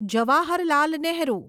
Jawaharlal Nehru